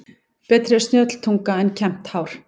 Betri er snjöll tunga en kembt hár.